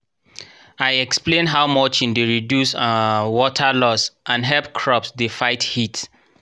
i explain how mulching dey reduce um water loss and hep crops dey fight heat